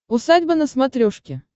усадьба на смотрешке